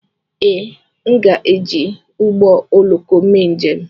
Ee, aga m eji ụgbọ oloko mee njem.